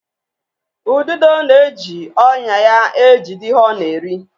Ududo na-eji ọnya ya ejide ihe ọ na-eri.